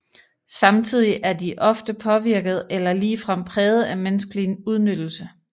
Samtidig er de ofte påvirket eller ligefrem præget af menneskelig udnyttelse